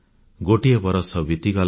ଗୋଟିଏ ବରଷ ବିତିଗଲା